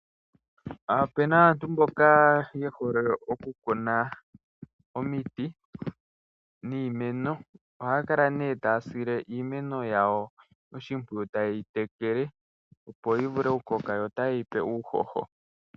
Opena aantu mboka yehole oku kuna omiti niimeno ohaya kala nee taya sile iimeno yawo oshimpwiyu taye yi tekele opo yi vule oku koka yo tayeyipe uuhoho.